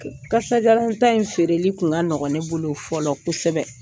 Kasajalanta in feereli tun ka nɔgɔ ne bolo fɔlɔ kosɛbɛ